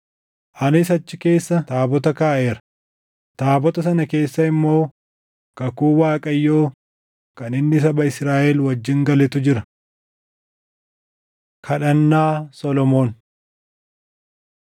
Anis achi keessa taabota kaaʼeera; taabota sana keessa immoo kakuu Waaqayyoo kan inni saba Israaʼel wajjin galetu jira.” Kadhannaa Solomoon 6:12‑40 kwf – 1Mt 8:22‑53 6:41‑42 kwf – Far 132:8‑10